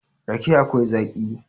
rake akwai Zaki